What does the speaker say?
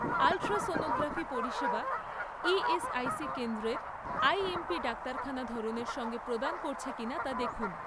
Ultrasonography পরিষেবা ESIC কেন্দ্রের IMP ডাক্তারখানা ধরনের সঙ্গে প্রদান করছে কিনা তা দেখুন।